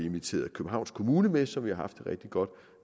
inviteret københavns kommune som vi har haft et rigtig godt